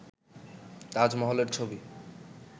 তাজমহলের ছবি